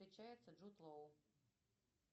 встречается джуд лоу